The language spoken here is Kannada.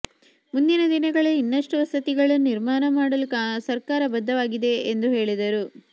ಮುಂದಿನ ದಿನಗಳಲ್ಲಿ ಇನ್ನಷ್ಟು ವಸತಿಗಳನ್ನು ನಿರ್ಮಾಣ ಮಾಡಲು ಸರ್ಕಾರ ಬದ್ಧವಾಗಿದೆ ಎಂದು ಹೇಳಿದರು